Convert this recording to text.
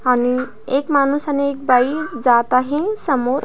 आणि एक माणूस आणि एक बाई जात आहे समोर.